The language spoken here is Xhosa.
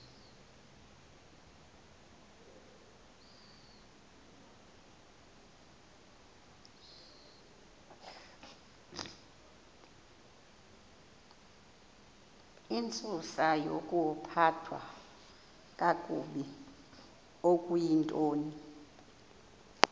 intsusayokuphathwa kakabi okuyintoni